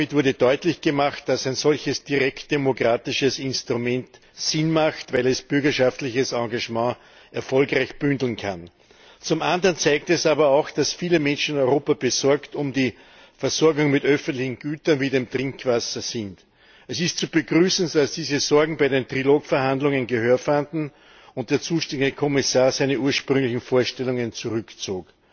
Damit wurde deutlich gemacht, dass ein solches direkt demokratisches Instrument Sinn macht, weil es bürgerschaftliches Engagement erfolgreich bündeln kann. Zum anderen zeigt es aber auch, dass viele Menschen in Europa um die Versorgung mit öffentlichen Gütern wie dem Trinkwasser besorgt sind. Es ist zu begrüßen, dass diese Sorgen bei den Trilogverhandlungen Gehör fanden und der zuständige Kommissar seine ursprünglichen Vorstellungen zurückzog.